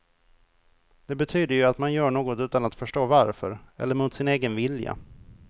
Det betyder ju att man gör något utan att förstå varför, eller mot sin egen vilja.